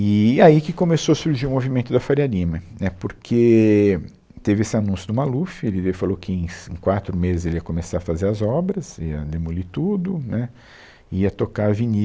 E, e aí que começou a surgir o movimento da Faria Lima, né, porque teve esse anúncio do Maluf, ele, ele falou que em cin, em quatro meses ele ia começar a fazer as obras, ia demolir tudo, né, ia tocar a